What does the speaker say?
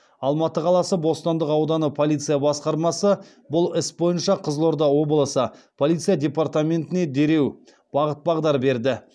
алматы қаласы бостандық ауданы полиция басқармасы бұл іс бойынша қызылорда облысы полиция департаментіне дереу бағыт бағдар берді